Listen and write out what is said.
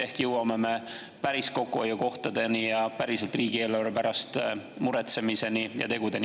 Ehk jõuame siis päris kokkuhoiukohtadeni ja päriselt riigieelarve pärast muretsemiseni ja tegudeni.